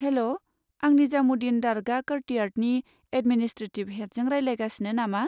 हेल', आं निजामुद्दिन दरगाह क'र्टियार्डनि एदमिनिस्ट्रेटिभ हेदजों रायज्लायगासिनो नामा?